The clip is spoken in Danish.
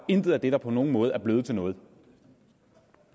intet af det der på nogen måde er blevet til noget